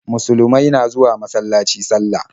Musulumai na zuwa masalaci sallah.